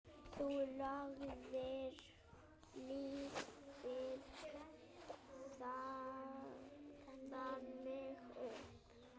Þú lagðir lífið þannig upp.